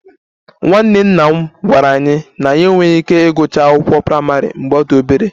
Nwanne nna m gwara anyị na ya enweghị ike ịgụcha akwụkwọ praịmarị mgbe ọ dị obere